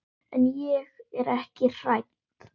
En ég er ekki hrædd.